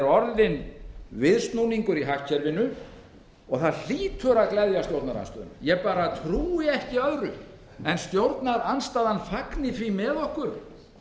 orðinn viðsnúningur í hagkerfinu og það hlýtur að gleðja stjórnarandstöðuna ég bara trúi ekki öðru en að stjórnarandstaðan fagni því með okkur